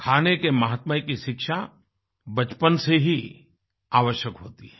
खाने के महत्व की शिक्षा बचपन से ही आवश्यक होती है